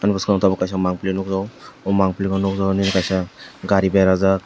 bwskango tabuk kaisa mangpili nukjakgo oh mangpili no nukjakgo nini kaisa gari berajak.